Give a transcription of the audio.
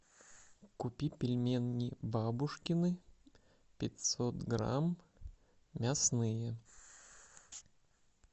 купи пельмени бабушкины пятьсот грамм мясные